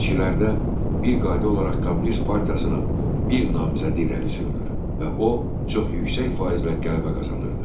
Seçkilərdə bir qayda olaraq Kommunist partiyasının bir namizədi irəli sürülür və o, çox yüksək faizlə qələbə qazanırdı.